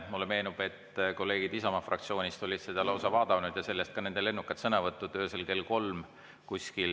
Mulle meenub, et kolleegid Isamaa fraktsioonist olid seda lausa vaadanud ja sellest ka nende lennukad sõnavõtud kuskil öösel kell kolm.